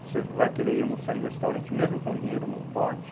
Você vai querer ir almoçar em restaurante, mesmo com dinheiro, não pode.